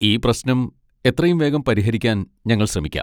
ഈ പ്രശ്നം എത്രയും വേഗം പരിഹരിക്കാൻ ഞങ്ങൾ ശ്രമിക്കാം.